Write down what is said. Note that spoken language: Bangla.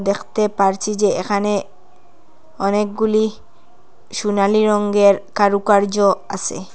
দেখতে পারছি যে এ্যাখানে অনেকগুলি সুনালি রঙ্গের কারুকার্য আসে।